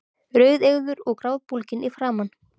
Rauðeygður og grátbólginn í framan.